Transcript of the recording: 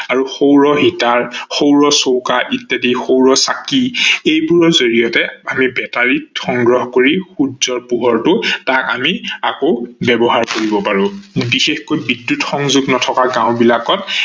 সৌৰ হিতাৰ, সৌৰ চৌকা ইত্যাদি সৌৰ চাকি এইবোৰৰ জৰিয়তে আমি বেটাৰিত সংগ্ৰহ কৰি সূৰ্যৰ পোহৰটো তাক আমি আকৌ ব্যৱহাৰ কৰিব পাৰো। বিশেষকৈ বিদ্যুৎ সংযোগ নথকা গাও বিলাকত